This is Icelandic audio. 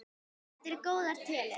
Þetta eru góðar tölur.